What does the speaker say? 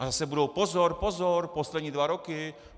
A zase bude: Pozor, pozor, poslední dva roky.